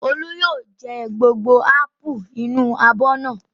Olú yóò jẹ gbogbo ápù inú abọ́ náà.